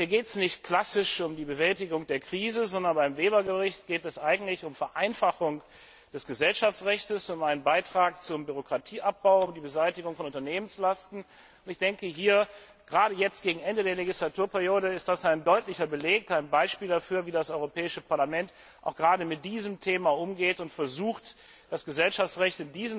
Hier geht es nicht klassisch um die Bewältigung der Krise, sondern beim Bericht Weber geht es eigentlich um die Vereinfachung des Gesellschaftsrechts, um einen Beitrag zum Bürokratieabbau und die Beseitigung von Unternehmenslasten. Gerade jetzt, zum Ende der Legislaturperiode, ist das ein deutlicher Beleg und ein Beispiel dafür, wie das Europäische Parlament gerade mit diesem Thema umgeht und versucht, das Gesellschaftsrecht